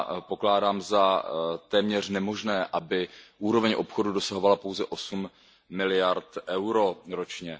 Pokládám za téměř nemožné, aby úroveň obchodu dosahovala pouze osm miliard EUR ročně.